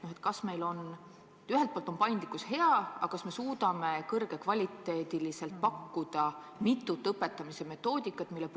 Ma mõtlen, et ühelt poolt on paindlikkus hea, aga kas me suudame kõrge kvaliteediga pakkuda mitut õpetamise metoodikat?